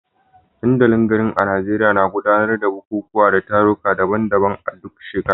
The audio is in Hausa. Dandalin garin a Najeriya na gudanar da bukukuwa da taruka daban-daban a duk shekara.